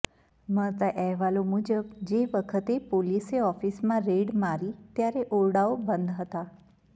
મળતા અહેવાલો મુજબ જે વખતે પોલીસે ઓફિસમાં રેડ મારી ત્યારે ઓરડાઓ બંધ હતાં